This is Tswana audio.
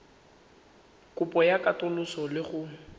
kopo ya katoloso le go